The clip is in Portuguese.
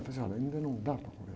Eu falei, assim, olha, ainda não dá para